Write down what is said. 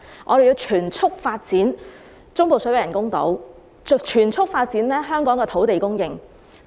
我們要全速發展中部水域人工島及增加香港的土地供應。